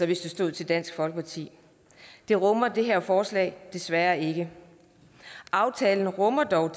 hvis det står til dansk folkeparti det rummer det her forslag desværre ikke aftalen rummer dog